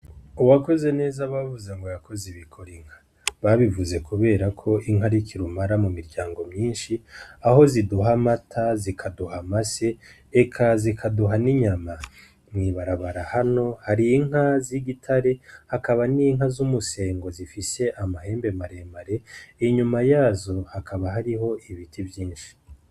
Uwakoze neza bavuze ngo yakoze ibikora inka babivuze, kubera ko inkarikirumara mu miryango myinshi aho ziduha amata zikaduha ama se eka zikaduha n'inyama mwibarabara hano harinka z'i gitare akaba n'inka z'umusengo zifise amahembe maremare inyuma yazo akaba hariho ibiti vyinshi.